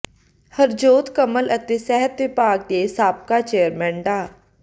ਹਰਜੋਤ ਕਮਲ ਅਤੇ ਸਿਹਤ ਵਿਭਾਗ ਦੇ ਸਾਬਕਾ ਚੇਅਰਮੈਨ ਡਾ